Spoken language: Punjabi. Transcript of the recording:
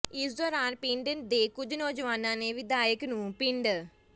ਇਸ ਦੌਰਾਨ ਪਿੰਡ ਦੇ ਕੁੱਝ ਨੌਜਵਾਨਾਂ ਨੇ ਵਿਧਾਇਕ ਨੂੰ ਪਿੰਡ